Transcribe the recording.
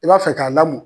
I b'a fɛ k'a lamɔ